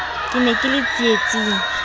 ke ne ke le tsietsing